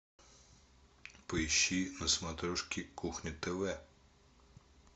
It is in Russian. поищи на смотрешке кухня тв